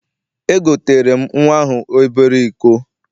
Egoteere m nnwa ahụ obere iko.